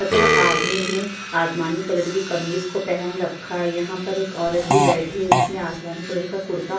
तथा आदमी ने आसमानी कलर की कमीज को पहन रखी है यहाँ पर एक औरत भी बैठी है जिसने आसमानी कलर का कुर्ता --